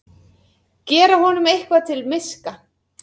Gera honum eitthvað til miska!